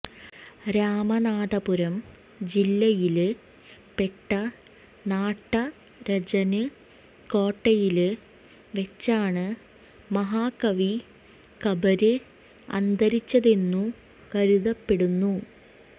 രാമനാഥപുരം ജില്ലയില് പെട്ട നാട്ടരചന് കോട്ടയില് വെച്ചാണ് മഹാകവി കമ്പര് അന്തരിച്ചതെന്നു കരുതപ്പെടുന്നു